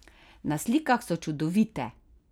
Na slikah so čudovite!